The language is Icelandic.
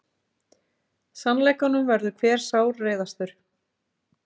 Sannleikanum verður hver sárreiðastur.